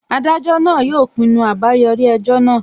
Adájọ náà yóò pinnu àbáyọrí ẹjọ́ náà